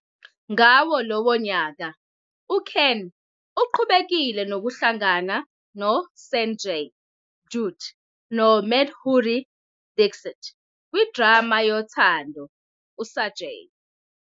Ngawo lowo nyaka, uKhan uqhubekile nokuhlangana noSanjay Dutt noMadhuri Dixit kwidrama yothando uSajan